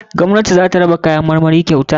Gwamnati zata raba kayan marmari kyauta.